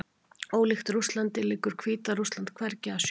Ólíkt Rússlandi liggur Hvíta-Rússland hvergi að sjó.